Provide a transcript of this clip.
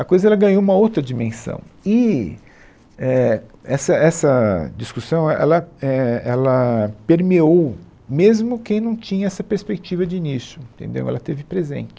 A coisa ela ganhou uma outra dimensão e, é, essa essa discussão, é, ela, é, ela permeou mesmo quem não tinha essa perspectiva de início, entendeu, ela esteve presente.